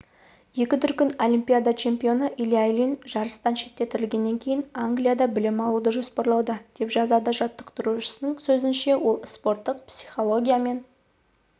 екі дүркін олимпиада чемпионы илья ильин жарыстан шеттетілгеннен кейін англияда білім алуды жоспарлауда деп жазады жаттықтырушысының сөзінше ол спорттық психология мен